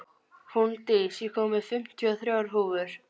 Húndís, ég kom með fimmtíu og þrjár húfur!